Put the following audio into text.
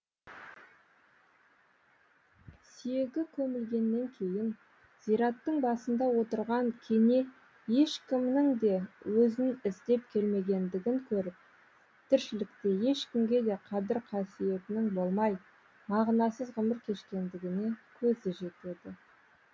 сүйегі көмілгеннен кейін зираттың басында отырған кене ешкімнің де өзін іздеп келмегендігін көріп тіршілікте ешкімге де қадір қасиетінің болмай мағынасыз ғұмыр кешкендігіне көзі жетеді